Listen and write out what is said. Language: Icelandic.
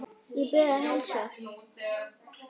Ég bið að heilsa